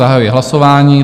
Zahajuji hlasování.